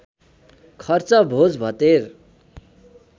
खर्च भोज भतेर